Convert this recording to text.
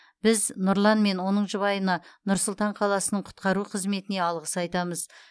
біз нұрлан мен оның жұбайына нұр сұлтан қаласының құтқару қызметіне алғыс айтамыз